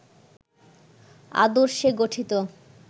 আদর্শে গঠিত